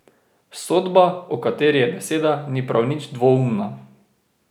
Sodba, o kateri je beseda, ni prav nič dvoumna.